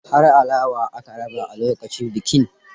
Har alawa aka raba lokacin bikin.